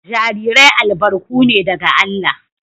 Jarirai albarku ne daga Allah